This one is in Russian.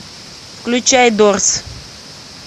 включай дорс